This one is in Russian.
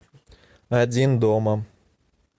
один дома